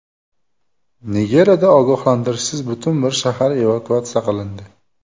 Nigeriyada ogohlantirishsiz butun bir shahar evakuatsiya qilindi.